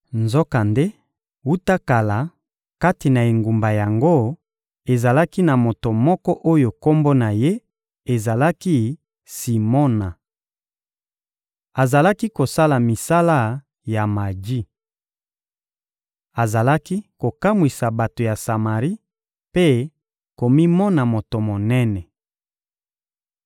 Nzokande, wuta kala, kati na engumba yango, ezalaki na moto moko oyo kombo na ye ezalaki «Simona.» Azalaki kosala misala ya maji. Azalaki kokamwisa bato ya Samari mpe komimona moto monene.